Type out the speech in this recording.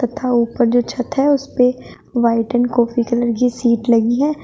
तथा ऊपर जो छत है उसपे व्हाइट एंड कॉफी कलर की सीट लगी है।